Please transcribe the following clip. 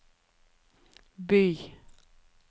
by